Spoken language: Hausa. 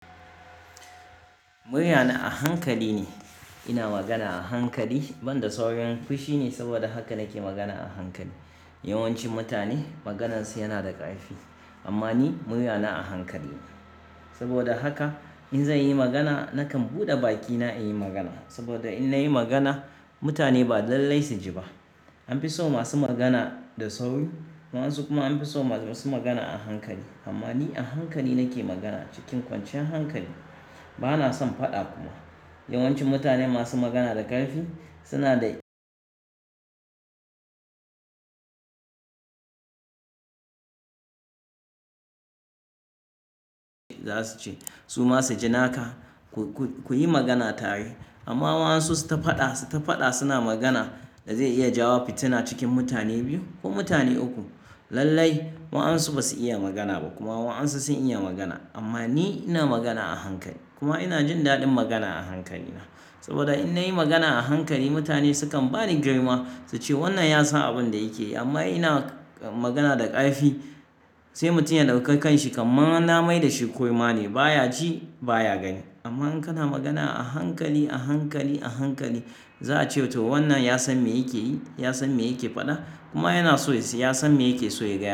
Muryana a hankali ne, ina magana a hankali, ban da saurin fushi ne saboda haka nake magana a hankali. Yawanci mutane maganansu yana da ƙarfi amma ni muryana a hankali ne. Saboda haka in zanyi magana nakan buɗe bakina in yi magana saboda in nayi magana mutane ba lallai su ji ba. An fi so masu magana da sauri waɗansu kuma an fi so masu magana a hankali. Amma ni a hankali nake magana cikin kwanciyar hankali bana son faɗa kuma. Yawanci mutane masu magana da ƙarfi suna da za su ce su ma su ji naka ku yi magana tare. Amma waɗansu su ta faɗa, suna magana da zai iya jawo fitina cikin mutane biyu ko mutane uku. Lallai waɗansu basu iya magana ba kuma waɗansu sun iya magana amma ni ina magana a hankali kuma ina jin daɗin magana a hankali na. Saboda in nayi magana a hankali mutane sukan bani girma su ce wannan ya san abin da yake yi amma ina magana da ƙarfi sai mutum ya ɗauka kanshi kaman na maida shi kurma ne baya ji baya gani. Amma in kana magana a hankali, a hankali, a hankali za a ce to wannan ya san me yake yi, ya san me yake faɗa kuma yana so ya san me yake so ya gaya.